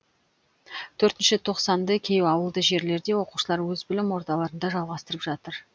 төртінші тоқсанды кей ауылды жерлерде оқушылар өз білім ордаларында жалғастырып жатыр